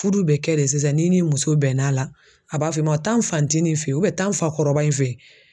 Furu bɛ kɛ de sisan ni ni muso bɛnna a la, a b'a fɔ i ma taa n fa ncinin fe yen taa n fa kɔrɔba in fe yen.